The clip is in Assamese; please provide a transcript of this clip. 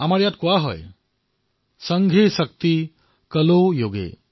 আমাৰ ইয়াত কোৱা হয় সংঘে শক্তি কলৌ যুগে